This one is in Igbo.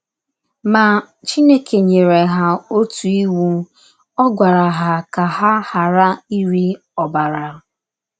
Ma, Chineke nyere ha otu iwu: Ọ gwara ha ka ha ghara ịri ọbara.